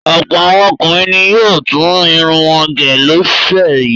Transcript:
Ọ̀pọ̀ àwọn ọkùnrin ni yóò tún irun wọn gẹ̀ lọ́sẹ̀ yìí.